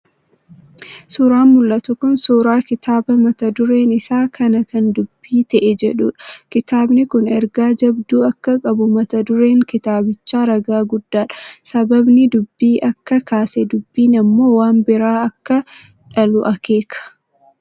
Suuraan mul'atu kun suuraa kitaaba mata dureen isaa "kana kan dubbii ta'e" jedhudha. Kitaabni kun ergaa jabduu akka qabu mata dureen kitaabichaa ragaa guddaadha. Sababni dubbii akka kaase, dubbiin ammoo waan biraa akka dhalu akeeka.